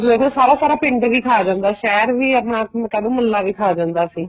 ਉਦੋਂ ਦੇਖ ਲੋ ਸਾਰਾ ਸਾਰਾ ਪਿੰਡ ਵੀ ਖਾ ਜਾਂਦਾ ਸ਼ਹਿਰ ਵੀ ਆਪਣਾ ਕਹਿ ਲੋ ਮੁਹਲਾ ਵੀ ਖਾ ਜਾਂਦਾ ਸੀ